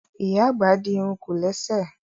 Ìyá àgbà di irun kòlẹ́sẹ̀